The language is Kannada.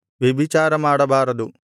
ವ್ಯಭಿಚಾರ ಮಾಡಬಾರದು